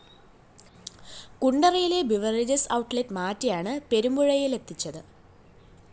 കുണ്ടറയിലെ beverages outlet മാറ്റിയാണ് പെരുമ്പുഴയിലെത്തിച്ചത്